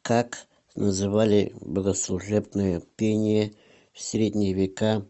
как называли богослужебное пение в средние века